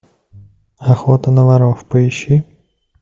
охота на воров поищи